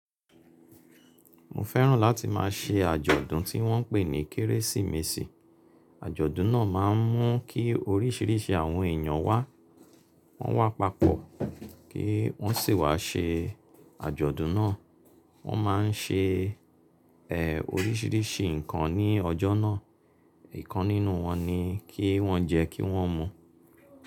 Mo fẹ́ràn láti má a ṣe àjọ̀dún tí wọ́n ń pè ní Kérésìmesì. Àjọ̀dún náà má a ń mú kí oríṣìíríṣìí àwọn èyàn wá, wọ́n wá papọ̀ kí wọ́n sì wá ṣe àjọ̀dún náà. Wọ́n má a ń ṣe, ẹ́, oríṣìíríṣìí nǹkan ní ọjọ́ náà. Ì kan nínú wọn ni kí wọ́n jẹ kí wọ́n mu.